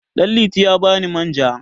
Ɗanliti ya ba ni manja.